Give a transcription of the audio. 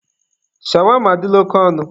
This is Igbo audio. Shawama adịla oke ọnụ.